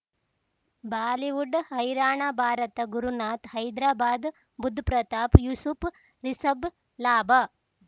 Bollywood ಹೈರಾಣ ಭಾರತ ಗುರುನಾಥ್ ಹೈದ್ರಾಬಾದ್ ಬುಧ್ ಪ್ರತಾಪ್ ಯೂಸುಫ್ ರಿಷಬ್ ಲಾಭ